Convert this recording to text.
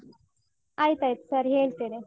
ಆಯ್ತಾಯ್ತು ಸರಿ ಹೇಳ್ತೇನೆ.